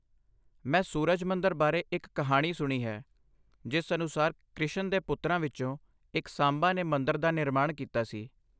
ਮੈਂ ਸੂਰਜ ਮੰਦਰ ਬਾਰੇ ਇੱਕ ਕਹਾਣੀ ਸੁਣੀ ਹੈ ਜਿਸ ਅਨੁਸਾਰ ਕ੍ਰਿਸ਼ਨ ਦੇ ਪੁੱਤਰਾਂ ਵਿੱਚੋਂ ਇੱਕ ਸਾਂਬਾ ਨੇ ਮੰਦਰ ਦਾ ਨਿਰਮਾਣ ਕੀਤਾ ਸੀ।